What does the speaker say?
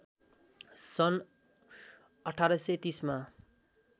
सन् १८३० मा